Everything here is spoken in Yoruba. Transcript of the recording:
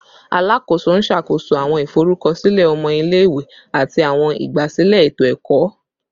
Alakoso n ṣakoso awọn iforukọsilẹ ọmọ ile-iwe ati awọn igbasilẹ eto-ẹkọ